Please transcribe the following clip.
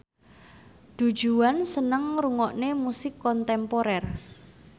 Du Juan seneng ngrungokne musik kontemporer